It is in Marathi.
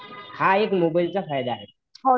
हा एक मोबाईलचा फायदा आहे